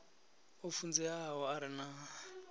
o funzeaho a re na